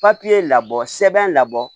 Papiye labɔ sɛbɛn labɔ